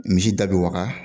Misi da be waga